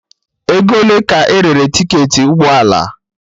Ego ole ka erere tiketi ụgbọ ala?